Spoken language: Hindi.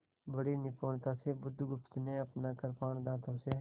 बड़ी निपुणता से बुधगुप्त ने अपना कृपाण दाँतों से